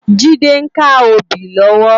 Jide n ká óbì lòwò